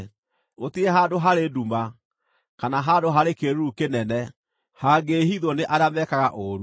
Gũtirĩ handũ harĩ nduma, kana handũ harĩ kĩĩruru kĩnene, hangĩĩhithwo nĩ arĩa meekaga ũũru.